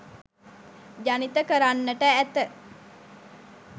ජනිත කරන්නට ඇත.